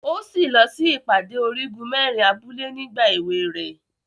O si lọ sí ìpàdé Origun merin abúlé nígbà ewé rẹ.